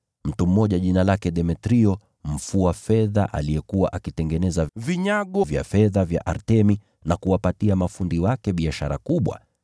Mtu mmoja jina lake Demetrio mfua fedha aliyekuwa akitengeneza vinyago vya fedha vya Artemi na kuwapatia mafundi wake biashara kubwa,